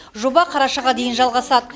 жоба қарашаға дейін жалғасады